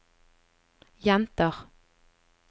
jenter